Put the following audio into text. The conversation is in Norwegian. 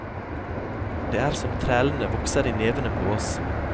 Det er som trælene vokser i nevene på oss.